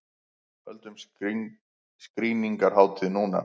Höldum skrýningarhátíð núna!